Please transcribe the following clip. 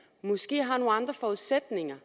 i har nogle andre forudsætninger